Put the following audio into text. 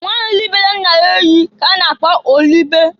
Nwanyị libere nna ya ehi ka a na-akpọ olibe (Olibere nna ya ehi).